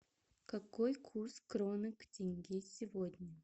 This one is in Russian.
какой курс кроны к тенге сегодня